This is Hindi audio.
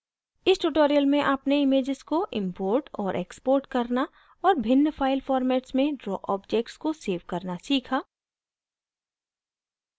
इस tutorial में आपने images को import और export करना और भिन्न file formats में draw objects को सेव करना सीखा